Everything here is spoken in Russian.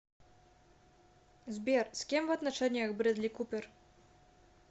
сбер с кем в отношениях брэдли купер